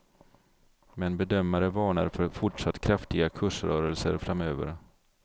Men bedömare varnar för fortsatt kraftiga kursrörelser framöver.